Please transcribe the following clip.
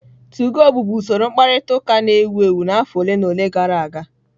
2go bụbu usoro mkparịta ụka na-ewu ewu n'afọ ole na ole gara aga.